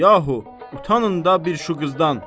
Yahu, utanın da bir şu qızdan!